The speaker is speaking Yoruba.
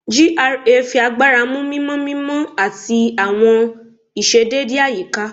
GRA fi agbara mu mimọ mimọ ati awọn iṣedede ayika